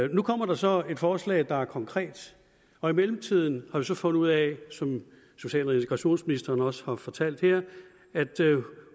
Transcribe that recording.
nu kommer der så et forslag der er konkret og i mellemtiden har vi så fundet ud af som social og integrationsministeren også har fortalt her at